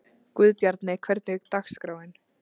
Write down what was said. Guðbjarni, hvernig er dagskráin?